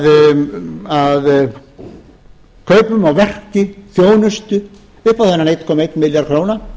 verki þjónustu upp á þennan eina komma einn milljarð króna